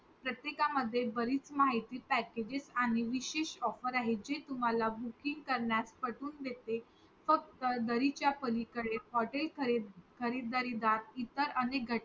प्रत्येक मध्ये बरीचमाहिती Packages आणि विशेष offer आहेत जे तुम्हाला booking करण्यास पटवून देते फक्त जरी च्या पलीकडे हॉटेल खरीदरीला इतर अनेक घटक